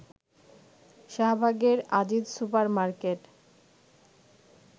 শাহবাগের Aziz super market